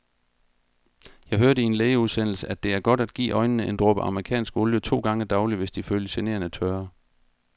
Jeg hørte i en lægeudsendelse, at det er godt at give øjnene en dråbe amerikansk olie to gange daglig, hvis de føles generende tørre.